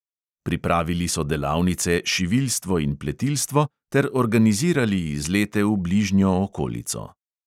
Pripravili so delavnice šiviljstvo in pletilstvo ter organizirali izlete v bližnjo okolico.